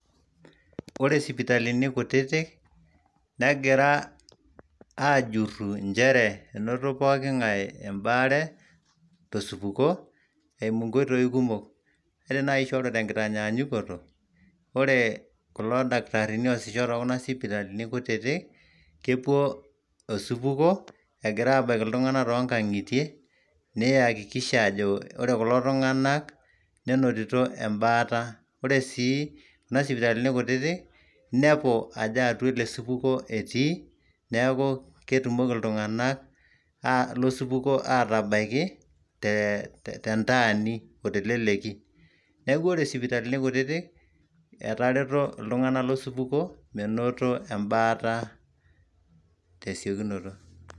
ore isipitalini kutitik negira aajuru inchere, enoto pooking'ae ebaare tosupuko eimu inkoitoi kumok, ore naaji te nkitanyaankoto, ore kulo dakitarini oosisho te kuna sipitalini kutitik, kepuo osupuko, egira aabaiki iltung'anak too nkang'itie neyakikisha ajo ore kulo tung'anak nenotito ebata. ore sii kuna sipitalini kutiti, inepu ajo atua ele supuko etii, neeku ketumoki iltung'anak losupuko aatabaiki te ntaani o teleleki, neeku ore sipitalini kututik etereto iltung'ana losupuko, menoto ebaata tesiokinoto.